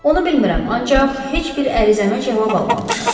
Onu bilmirəm, ancaq heç bir ərizəmə cavab almamışam.